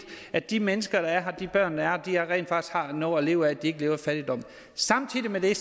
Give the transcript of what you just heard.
at de mennesker der er her de børn der er her rent faktisk har noget at leve af så de ikke lever i fattigdom samtidig med det